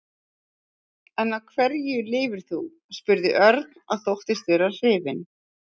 En á hverju lifir þú? spurði Örn og þóttist vera hrifinn.